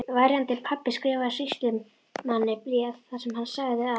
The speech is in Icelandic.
Verjandi pabba skrifaði sýslumanni bréf þar sem hann sagði að